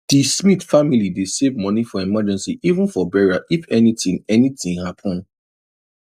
di smith family dey save money for emergency even for burial if anything anything happen